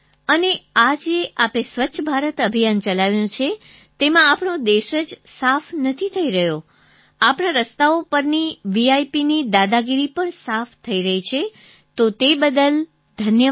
અને આ જે આપે સ્વચ્છ ભારત અભિયાન ચલાવ્યું છે તેમાં આપણો દેશ જ સાફ નથી થઈ રહ્યો આપણાં રસ્તાઓ પરથી VIPની દાદાગીરી પણ સાફ થઈ રહી છે તો તે બદલ ધન્યવાદ